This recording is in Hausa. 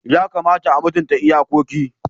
Yakamata a mutunta iyakoki.